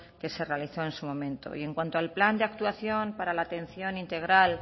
que se realizó en su momento y en cuanto al plan de actuación para la atención integral